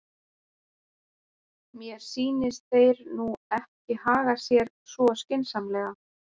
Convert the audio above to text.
Mér sýnist þeir nú ekki haga sér svo skynsamlega.